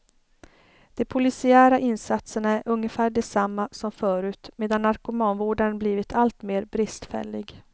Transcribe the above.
De polisiära insatserna är ungefär desamma som förut medan narkomanvården blivit alltmer bristfällig.